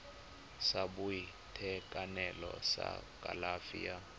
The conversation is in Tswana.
sa boitekanelo sa kalafi ya